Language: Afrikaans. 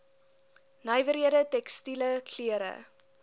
nywerhede tekstiele klere